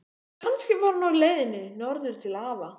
Kannski var hún á leiðinni norður til afa.